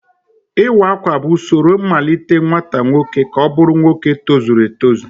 Iwa Akwa bụ usoro mmalite nwata nwoke ka ọ bụrụ nwoke tozuru etozu